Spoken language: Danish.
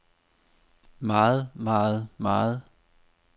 meget meget meget